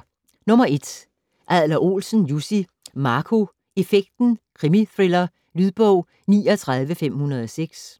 Adler-Olsen, Jussi: Marco effekten: krimithriller Lydbog 39506